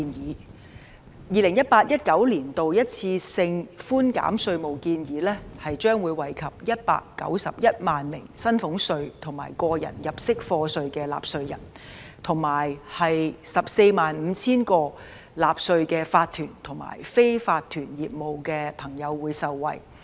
在 2018-2019 年度一次性寬減稅務的建議將會惠及191萬名薪俸稅和個人入息課稅的納稅人，以及 145,000 個納稅的法團和非法團業務的朋友。